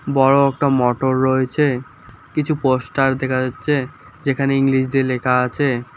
বড়ো একটা মোটর রয়েছে কিছু পোস্টার দেখা যাচ্ছে যেখানে ইংলিশ দিয়ে লেখা আছে।